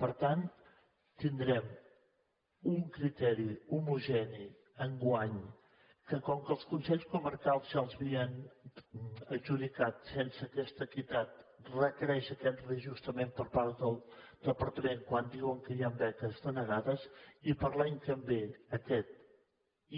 per tant tindrem un criteri homogeni enguany que com que els consells comarcals ja els havien adjudicat sense aquesta equitat requereix aquest reajustament per part del departament quan diuen que hi han beques denegades i per a l’any que ve aquest